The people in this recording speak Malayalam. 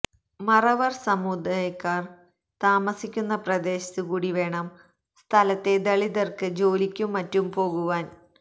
മറവർ സമുദായക്കാർ താമസിക്കുന്ന പ്രദേശത്തു കൂടി വേണം സ്ഥലത്തെ ദളിതർക്ക് ജോലിക്കും മറ്റും പോകുവാൻ